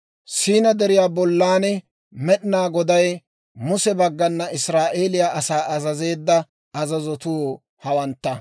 Siinaa Deriyaa bollan Med'inaa Goday Muse baggana Israa'eeliyaa asaa azazeedda azazotuu hawantta.